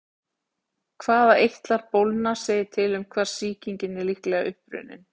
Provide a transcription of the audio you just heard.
Hvaða eitlar bólgna segir til um hvar sýkingin er líklega upprunnin.